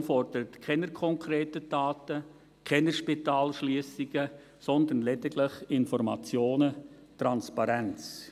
Die GPK fordert keine konkreten Taten, keine Spitalschliessungen, sondern lediglich Informationen und Transparenz.